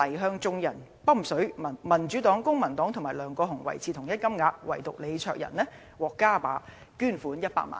今年年中，黎再向眾人'揼水'，民主黨、公民黨及梁國雄維持同一金額，唯獨李卓人獲加碼捐款100萬元"。